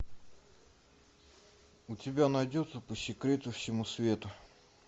у тебя найдется по секрету всему свету